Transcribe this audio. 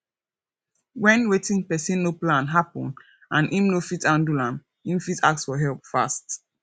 when wetin person no plan happen and im no fit handle am im fit ask for help fast